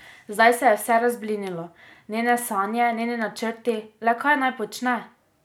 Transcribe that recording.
Zdaj se je vse razblinilo, njene sanje, njeni načrti, le kaj naj počne?